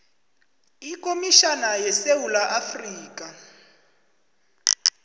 ikomitjhana yesewula afrika